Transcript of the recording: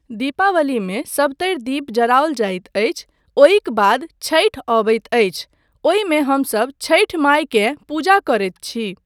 दीपावलीमे सभतरि दीप जराओल जाइत अछि, ओहिक बाद छठि अबैत अछि, ओहिमे हमसब छठी मायकेँ पूजा करैत छी।